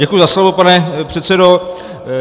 Děkuji za slovo, pane předsedo.